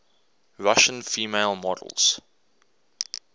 russian female models